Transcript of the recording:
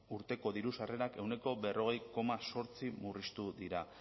urteko diru sarrerak ehuneko berrogei koma zortzi murriztu dira